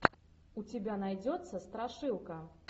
у тебя найдется страшилка